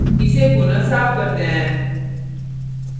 इसे पुनः साफ़ करते हैं